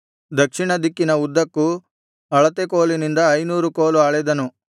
ದಕ್ಷಿಣದಿಕ್ಕಿನ ಉದ್ದಕ್ಕೂ ಅಳತೆ ಕೋಲಿನಿಂದ ಐನೂರು ಕೋಲು ಅಳೆದನು